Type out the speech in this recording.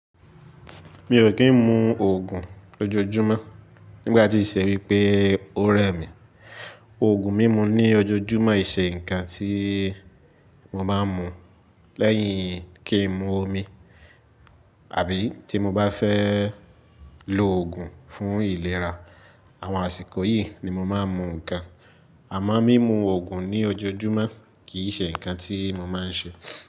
Mi ò kí ń mu òògùn lójoójúmọ́ nígbà tí ìṣe wípé ó rẹ mi. Òògùn mímu ní ojoojúmọ́ ì ṣe ǹkan tí mo máa ń mu lẹ́yìn kí ń mu omi àbí tí mo bá fẹ́ lo òògùn fún ìlera. Àwọn àsìkò yìí ni mo máa ń mu ǹkan. Àmọ́ mímu òògùn ní ojoojúmọ́ kì í ṣe ǹkan tí mo máa ń ṣe.